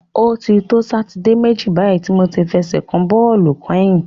O ti to Sátidé méjì báyìí tí mo ti fẹsẹ̀ kan bọ́ọ̀lù kányìn.